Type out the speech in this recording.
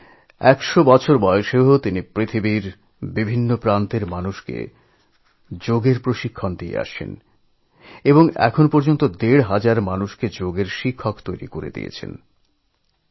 তিনি একশ বছর বয়সেও বিশ্বজুড়ে সব মানুষকে যোগ ব্যায়ামের প্রশিক্ষণ দিয়ে চলেছেন এবং এখন পর্যন্ত ১৫০০ জন যোগা শিক্ষক তৈরি করেছেন